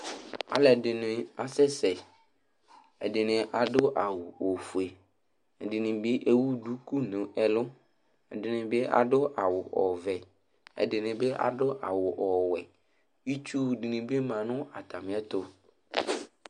Alu ɛdini asɛsɛ ɛdini adu awu ofue ɛdini bi ewu duku nu ɛlu ɛdini bi adu awu ɔvɛ ɛdini bi adu awu ɔwɛ Itsu dini bi ma nu atami ɛtu